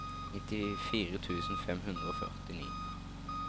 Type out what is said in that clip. nittifire tusen fem hundre og førtini